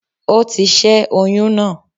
Ó ti ṣé oyún náà